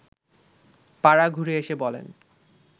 পাড়া ঘুরে এসে বলেন